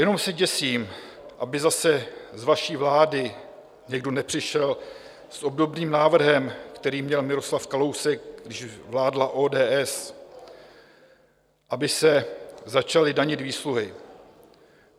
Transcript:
Jenom se děsím, aby zase z vaší vlády někdo nepřišel s obdobným návrhem, který měl Miroslav Kalousek, když vládla ODS, aby se začaly danit výsluhy.